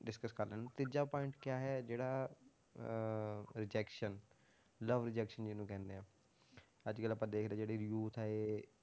Discuss ਕਰ ਲੈਂਦੇ ਤੀਜਾ point ਕਿਆ ਹੈ ਜਿਹੜਾ ਅਹ rejection love rejection ਜਿਹਨੂੰ ਕਹਿੰਦੇ ਆ, ਅੱਜ ਕੱਲ੍ਹ ਆਪਾਂ ਦੇਖ ਰਹੇ ਜਿਹੜੇ youth ਆ ਇਹ,